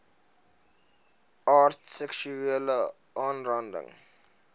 aard seksuele aanranding